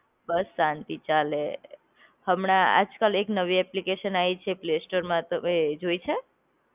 બસ શાંતિ ચાલે. હમણાં આજ કાલ એક નવી એપ્લિકેશન આઈ છે પ્લે સ્ટોરમાં તમે જોઈ છે?